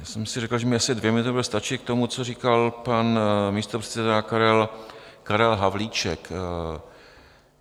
Já jsem si říkal, že mi asi dvě minuty budou stačit k tomu, co říkal pan místopředseda Karel Havlíček.